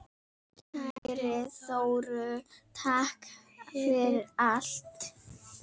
Kæri Þórður, takk fyrir allt.